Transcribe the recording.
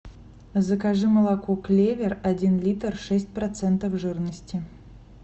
закажи молоко клевер один литр шесть процентов жирности